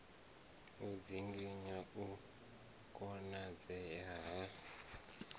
u dzinginya u konadzea ha